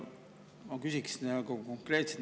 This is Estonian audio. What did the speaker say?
Ma küsin konkreetselt.